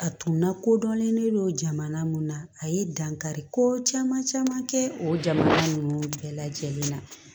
A tun lakodɔnnen don jamana mun na a ye dankari ko caman caman kɛ o jamana ninnu bɛɛ lajɛlen na